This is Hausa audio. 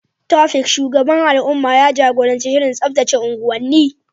Taofiq, shugaban al’umma, ya jagoranci shirin tsaftace unguwanni.